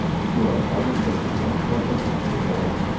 Shu orqali juda katta miqdorda gaz tejaladi.